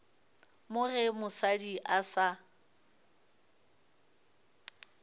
mo ge mosadi a sa